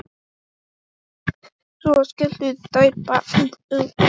Svo skelltu þær báðar upp úr.